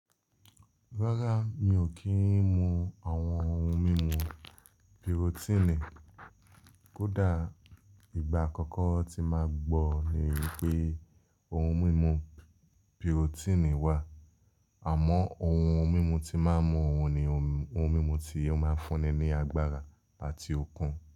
Rárá, mi ò kí ń mu àwọn ohun mímu birotini. Kódà ìgbà àkọ́kọ́ tí máa gbọ́ ni pé ohun mímu birotini wà, àmọ́ ohun mímu tí máa ń mu òun ni ohun mímu tí ó máa ń fúnni ní agbára àti okun.